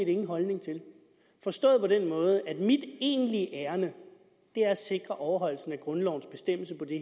ingen holdning til forstået på den måde at mit egentlige ærinde er at sikre overholdelse af grundlovens bestemmelse på det